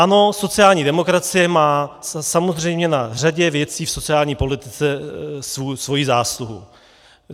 Ano, sociální demokracie má samozřejmě na řadě věcí v sociální politice svoji zásluhu.